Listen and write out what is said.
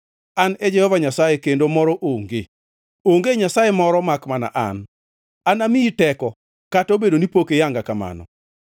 An e Jehova Nyasaye, kendo moro onge; onge Nyasaye moro makmana an. Anamiyi teko, kata obedo ni pok iyanga kamano,